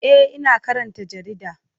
E, ina karanta jarida.